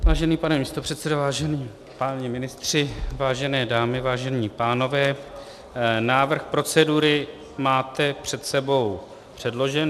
Vážený pane místopředsedo, vážení páni ministři, vážené dámy, vážení pánové, návrh procedury máte před sebou předložen.